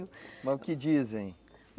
Mas o que dizem?